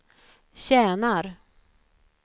tjänar